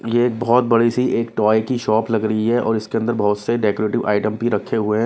ये बहुत बड़ी सी एक टॉय की शॉप लग रही है और इसके अंदर बहुत से डेकोरेटिव आइटम भी रखे हुए हैं।